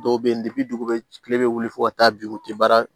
Dɔw bɛ yen dugu bɛ kile bɛ wuli fo ka taa bi u tɛ baara